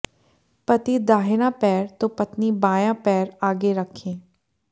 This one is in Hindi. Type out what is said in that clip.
पति दाहिना पैर तो पत्नी बायां पैर आगे रखें